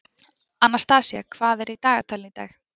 Anastasía, hvað er í dagatalinu í dag?